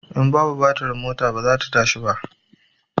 In babu batir mota ba zai tashi ba